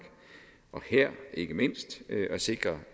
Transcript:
og her ikke mindst at sikre